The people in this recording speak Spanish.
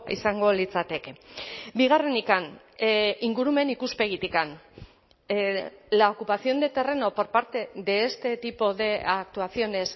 izango litzateke bigarrenik ingurumen ikuspegitik la ocupación de terreno por parte de este tipo de actuaciones